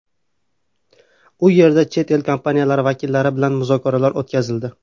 U yerda chet el kompaniyalari vakillari bilan muzokaralar o‘tkazildi.